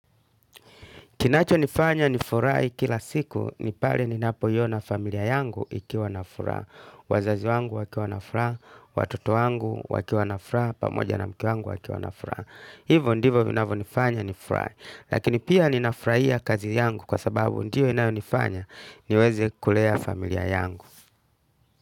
Kinacho nifanya ni furahi kila siku, ni pale ni napo iona familia yangu ikiwa na furaha. Wazazi wangu wakiwa na furaha, watoto wangu wakiwa na furaha, pamoja na mke wangu akiwa na furaha. Hivyo ndivo vinavyonifanya ni furahi. Lakini pia ninafurahia kazi yangu kwa sababu ndiyo inayonifanya niweze kulea familia yangu.